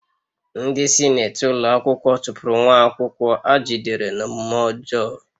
Ndị sinetị ụlọ akwụkwọ chụpụrụ nwa akwụkwọ a jidere n'omume ọjọọ